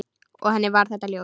Og henni var þetta ljóst.